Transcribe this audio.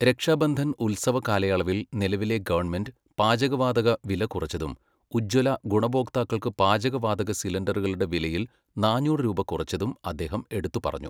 രക്ഷാബന്ധൻ ഉത്സവ കാലയളവിൽ നിലവിലെ ഗവണ്മെന്റ് പാചകവാതക വില കുറച്ചതും ഉജ്ജ്വല ഗുണഭോക്താക്കൾക്ക് പാചകവാതക സിലിൻഡറുകളുടെ വിലയിൽ നാന്നൂറ് രൂപ കുറച്ചതും അദ്ദേഹം എടുത്തുപറഞ്ഞു.